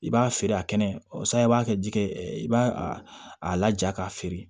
I b'a feere a kɛnɛ o san i b'a kɛ jikɛ i b'a a laja k'a feere